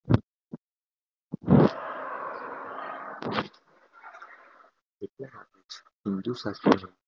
પીવાનું પછી કરવામાં આવશે